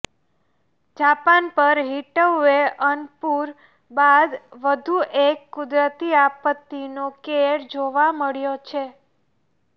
Japan પર heatwave અન પૂર બાદ વધુ એક કુદરતી આપતિનો કેર જોવા મળ્યો છે